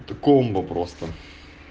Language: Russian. это комбо просто